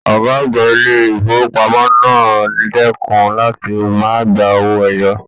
Ọgá àgbà ilé ifowopamọ náà dẹkùn láti máa gbà owó ẹyọ.